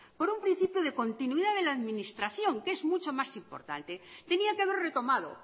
por un principio de continuidad de la administración que es mucho más importante tenía que haber retomado